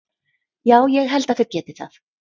Já ég held að þeir geti það.